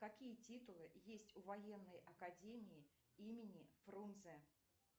какие титулы есть у военной академии имени фрунзе